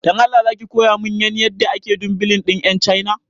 Dan Allah zaki kowa min yan yadda ake dumbilin din yan chaina